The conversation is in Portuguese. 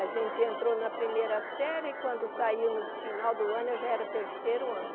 A gente entrou na primeira série e quando saiu no final do ano, eu já era terceiro ano.